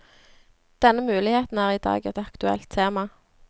Denne muligheten er i dag et aktuelt tema.